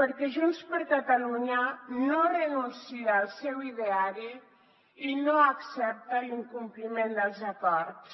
perquè junts per catalunya no renuncia al seu ideari i no accepta l’incompliment dels acords